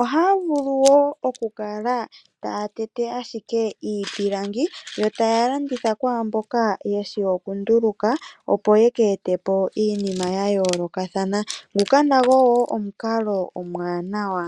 ohaya vulu woo okukala taya tete ashike iipilangi. Yo taya landitha kwaamboka yeshi oku nduluka. Opo yeke ete po iinima ya yoolokathana. Nguka nago woo omukalo omuwanawa.